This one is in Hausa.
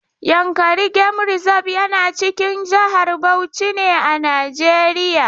Yankari game reserve yana cikin jihar Bauchi ne a Najeriya.